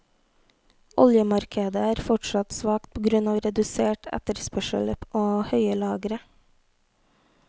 Oljemarkedet er fortsatt svakt på grunn av redusert etterspørsel og høye lagre.